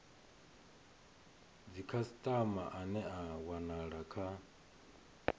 dzikhasitama ane a wanala kha